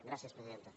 gràcies presidenta